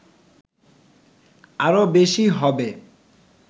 আরো বেশী হবে